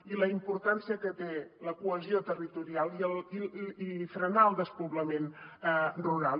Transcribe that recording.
i la importància que té la cohesió territorial i frenar el despoblament rural